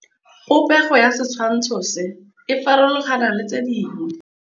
Popêgo ya setshwantshô se, e farologane le tse dingwe.